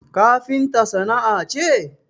Kafinta sana'a ce?